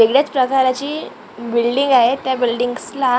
वेगळ्याच प्रकाराची बिल्डींग आहे त्या बिल्डींग्जला --